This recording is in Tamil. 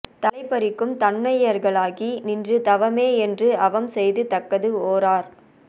தலை பறிக்கும் தன்மையர்களாகி நின்று தவமே என்று அவம் செய்து தக்கது ஓரார்